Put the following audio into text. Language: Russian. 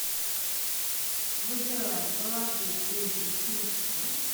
выбираем положить деньги на телефон